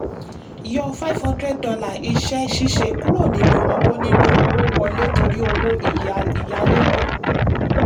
yọ five hundred dollar iṣẹ́-ṣíṣe kúrò nínú owó nínú owó wọlé torí owó ìyálégbé.